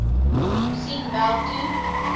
sien wel toe